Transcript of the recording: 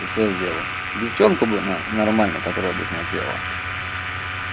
и всё сделал девчонку бы н нормально которая бы смотрела